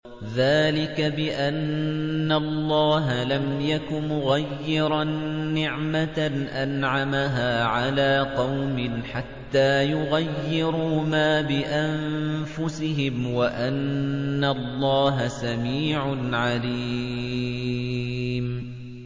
ذَٰلِكَ بِأَنَّ اللَّهَ لَمْ يَكُ مُغَيِّرًا نِّعْمَةً أَنْعَمَهَا عَلَىٰ قَوْمٍ حَتَّىٰ يُغَيِّرُوا مَا بِأَنفُسِهِمْ ۙ وَأَنَّ اللَّهَ سَمِيعٌ عَلِيمٌ